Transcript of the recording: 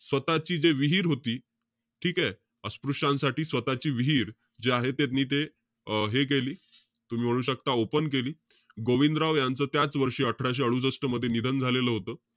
अं स्वतःची जे विहीर होती, ठीकेय? अस्पृश्यांसाठी, स्वतःची विहीर जी आहे, त्यांनी ते अं हे केली. तुम्ही म्हणू शकता open केली. गोविंदराव यांचा त्याचवर्षी अठराशे अडुसष्ट मध्ये निधन झालेलं होतं.